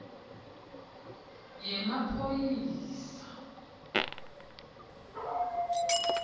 yemaphoyisa